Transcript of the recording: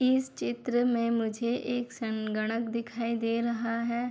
इस चित्र में मुझे एक संगणक दिखाई दे रहा है।